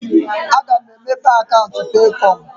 A ga m emepe akaụntụ na Peekọm.